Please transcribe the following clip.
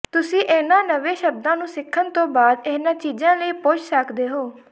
ਤੁਸੀਂ ਇਹਨਾਂ ਨਵੇਂ ਸ਼ਬਦਾਂ ਨੂੰ ਸਿੱਖਣ ਤੋਂ ਬਾਅਦ ਇਹਨਾਂ ਚੀਜ਼ਾਂ ਲਈ ਪੁੱਛ ਸਕਦੇ ਹੋ